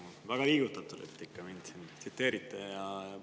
Ma olen väga liigutatud, et te mind ikka tsiteerite.